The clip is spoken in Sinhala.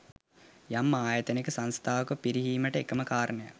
යම් ආයතනයක සංස්ථාවක පිරිහීමට එකම කාරණයක්